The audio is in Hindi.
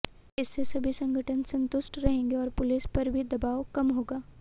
इससे सभी संगठन संतुष्ट रहेंगे और पुलिस पर भी दबाव कम होगा